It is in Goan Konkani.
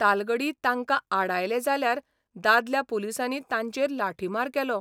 तालगडी तांकां आडायले जाल्यार दादल्या पुलिसांनी तांचेर लाठीमार केलो.